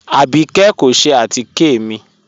Abíkẹ̀ kò ṣẹ̀ àtíkẹ̀ mi